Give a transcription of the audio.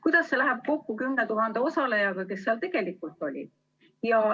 Kuidas see läheb kokku 10 000 osalejaga, kes seal tegelikult olid?